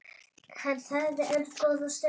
Hann þagði enn góða stund.